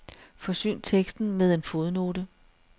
Forsyn teksten med en fodnote.